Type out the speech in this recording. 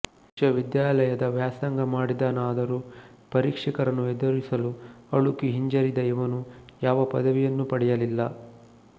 ವಿಶ್ವವಿದ್ಯಾಲಯದ ವ್ಯಾಸಂಗ ಮಾಡಿದನಾದರೂ ಪರೀಕ್ಷಕರನ್ನು ಎದುರಿಸಲು ಅಳುಕಿ ಹಿಂಜರಿದ ಇವನು ಯಾವ ಪದವಿಯನ್ನೂ ಪಡೆಯಲಿಲ್ಲ